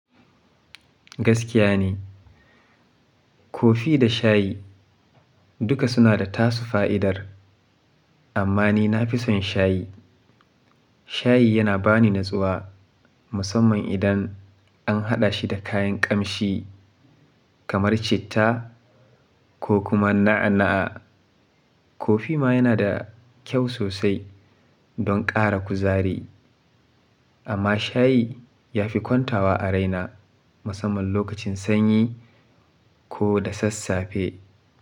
Gaskiya ne, kofi da shayi duka suna da tasu fa'idar amma ni na fi son shayi. Shayi yana ba ni natsuwa musamman idan an haɗa shi da kayan ƙamshi kamar citta ko kuma na'a-na'a. Kofi ma yana da kyau sosai don ƙara kuzari amma shayi ya fi kwantawa a raina musamman lokacin sanyi ko da sassafe.